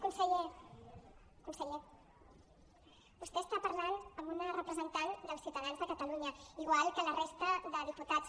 conseller conseller vostè està parlant amb una representant dels ciutadans de catalunya igual que la resta de diputats